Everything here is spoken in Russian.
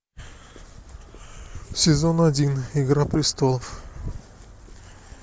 сезон один игра престолов